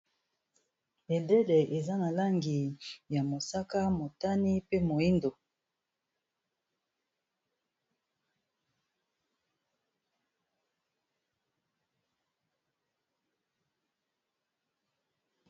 Bendele eza na langi ya mosaka motani pe moindo.